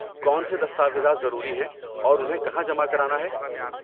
کون سے دستاویزات ضروری ہیں اور انہیں کہاں جمع کرانا ہے؟